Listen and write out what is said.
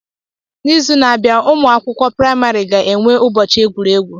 N'izu na-abịa, ụmụ akwụkwọ praịmari ga-enwe ụbọchị egwuregwu.